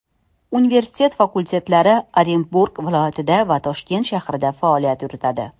Universitet filiallari Orenburg viloyatida va Toshkent shahrida faoliyat yuritadi.